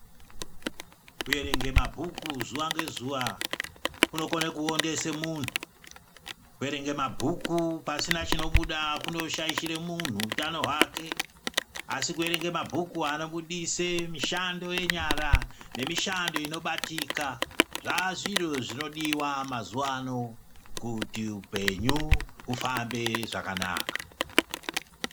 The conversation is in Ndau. Kuerenga mabhuku zuwa ngezuwa kunokone kuondese muntu. Kuerenga mabhuku pasina chinobuda kunoshaishira munhu utano hwake asi kuerenga mabhuku anobudise mishando yenyara nemishando inobatika zvaa zviro zvinodiwa mazuwa ano kuti upenyu hufambe zvakanaka.